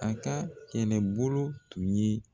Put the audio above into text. A ka kɛlɛbolo tun ye